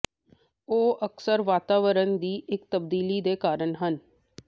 ਉਹ ਅਕਸਰ ਵਾਤਾਵਰਣ ਦੀ ਇੱਕ ਤਬਦੀਲੀ ਦੇ ਕਾਰਨ ਹਨ